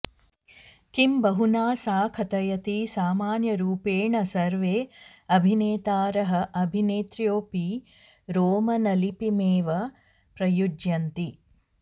किं बहुना सा कथयति सामान्यरूपेण सर्वे अभिनेतारः अभिनेत्र्योऽपि रोमनलिपिमेव प्रयुञ्जन्ति